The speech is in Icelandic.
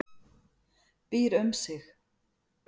Býr um sig.